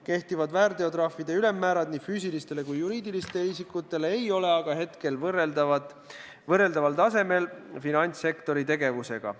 Kehtivad väärteotrahvide ülemmäärad nii füüsilistele kui ka juriidilistele isikutele ei ole aga hetkel korrelatsioonis finantssektori tegevusega.